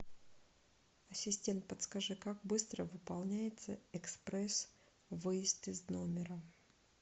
ассистент подскажи как быстро выполняется экспресс выезд из номера